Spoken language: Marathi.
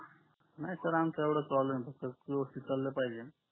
नाही यांचा एवढा प्रॉब्लेम आहे फक्त व्यवस्तीत चाल पाहिजे